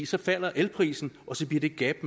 så falder elprisen og så bliver det gab